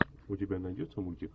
у тебя найдется мультик